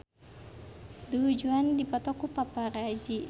Du Juan dipoto ku paparazi